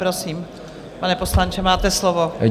Prosím, pane poslanče, máte slovo.